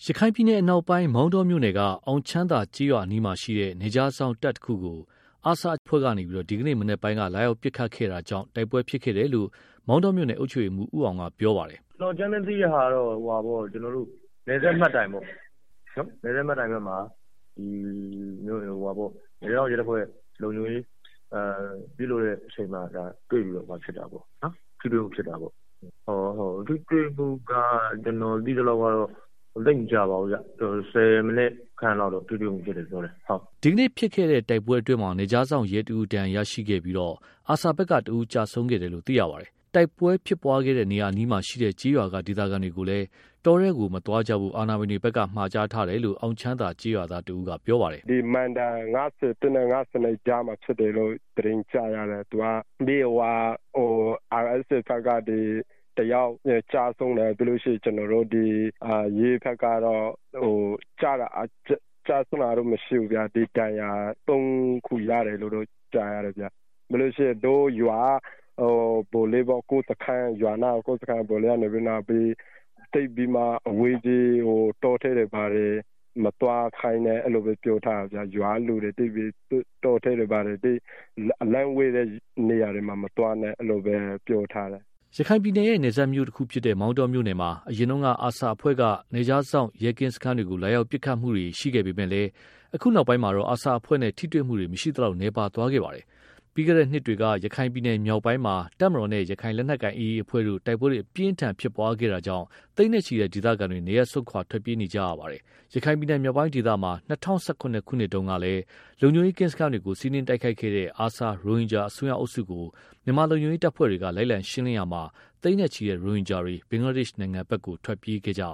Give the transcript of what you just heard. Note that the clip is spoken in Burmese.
ရခိုင်ပြည်နယ် အနောက်ပိုင်း မောင်တောမြို့နယ်က အောင်ချမ်းသာကျေးရွာအနီးမှာ ရှိတဲ့ နယ်ခြားစောင့်တပ်တစ်ခုကို ARSA အစွန်းရောက်အဖွဲ့က ဒီကနေ့မနက်ပိုင်းက လာရောက်ပစ်ခတ်တာကြောင့် တိုက်ပွဲဖြစ်ပွားခဲ့တယ်လို့ မောင်တောမြို့နယ်အုပ်ချုပ်ရေးမှူး ဦးအောင်ရဲ့ ပြောပါတယ်။ “ကျနော်အကြမ်းဖျင်း သိရတာကတော့ နယ်စပ်မှတ်တိုင်ပေါ့။ အဲဒီမှာ နယ်ခြား စောင့်ရဲတပ်ဖွဲ့က လုံခြုံရေးယူနေတဲ့အချိန် တွေ့ပြီးတော့ ထိတွေ့မှု ဖြစ်တာပေါ့။ ထိတွေ့မှုကတော့ ကျနော်သိသလောက် ဆယ်မိနစ်ခန့်လောက် ထိတွေ့မှု ရှိတယ်လို့ ပြောပါတယ်။” ဒီကနေ့ဖြစ်ပွားခဲတဲ့ တိုက်ပွဲအတွင်းမှာ နယ်ခြားစောင့်ရဲတစ်ဦး ဒဏ်ရာရရှိခဲ့ပြီး ARSA ဘက်က တစ်ဦးကျဆုံးခဲ့တာလည်း ဖြစ်ပါတယ်။ တိုက်ပွဲဖြစ်ပွားခဲ့တဲ့ နေရာအနီးမှာ ရှိတဲ့ ကျေးရွာက ဒေသခံတွေကိုလည်း တောထဲတွေကို မသွားဖို့ အာဏာပိုင်တွေဘက်က မှာကြားထားတယ်လို့ အောင်ချမ်းသာ ကျေးရွာသားတစ်ဦးကပြောပါတယ်။ “သူက မိုင်တိုင် ၅၁ နဲ့ ၅၂ ကြားမှာ ဖြစ်တယ်လို့ သတင်းကြားရတယ်။ ARSA ဘက်က တစ်ယောက်ကျဆုံးတယ်။ ပြီးတော့ ကျနော်တို့ ရဲဘက်ကတော့ ကျဆုံးတာကတော့ မရှိဘူး။ ဒါပေမဲ့ တစ်ယောက်ကတော့ ဒဏ်ရာရသွားတယ်လို့ကြားတယ်။ ပြီးတော့ ရွာနားက စခန်းက ဗိုလ်လေးကတော့ သိပ်ပြီးတော့ အဝေးကြီး တောထဲတွေ၊ ဘာတွေ မသွားကြဖို့ ရွာကလူတွေကို အလှမ်းဝေးတဲ့ တောထဲတွေကို မသွားဖို့ အဲဒီလိုတော့ မှာထားတယ်။” ရခိုင်ပြည်နယ်ရဲ့ နယ်စပ်မြို့တစ်ခုဖြစ်တဲ့ မောင်တောမြို့နယ်မှာ အရင်က ARSA အဖွဲ့က နယ်ခြားစောင့်ရဲကင်းစခန်းတွေကို လာရောက်ပစ်ခတ်တာတွေ ရှိခဲ့ပေမဲ့လည်း အခုနောက်ပိုင်းမှာတော့ ARSA အဖွဲ့နဲ့ ထိတွေ့မှု မရှိသလောက် နည်းပါးသွားခဲ့တာလည်း ဖြစ်ပါတယ်။ ပြီးခဲ့တဲ့ နှစ်တွေက ရခိုင်ပြည်နယ်မြောက်ပိုင်းမှာ တပ်မတော်နဲ့ ရခိုင်လက်နက်ကိုင် AA အဖွဲ့တို့ တိုက်ပွဲအပြင်းအထန်ဖြစ်ပွားခဲ့တာကြောင့် သိန်းနဲ့ချီတဲ့ ဒေသခံတွေ နေရပ်စွန့်ခွာထွက်ပြေးနေကြရတာလည်း ဖြစ်ပါတယ်။ ရခိုင်ပြည်နယ် မြောက်ပိုင်းဒေသမှာ ၂၀၁၇ ခုနှစ်တုန်းက လုံခြုံရေးကင်းစခန်းတွေကို စီးနင်းတိုက်ခိုက်ခဲ့တဲ့ ARSA ရိုဟင်ဂျာ အစွန်းရောက်အုပ်စုကို မြန်မာလုံခြုံရေးတပ်ဖွဲ့ဝင်တွေက လိုက်လံရှင်းလင်းရာမှာ သိန်းနဲ့ချီတဲ့ ရိုဟင်ဂျာတွေ ဘင်္ဂလားဒေ့ရှ် နိုင်ငံဘက်ကို ထွက်ပြေးသွားကြရ